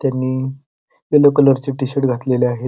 त्यांनी यल्लो कलरचे टि-शर्ट घातलेले आहे.